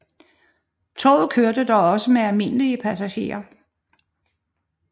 Toget kørte dog også med almindelige passagerer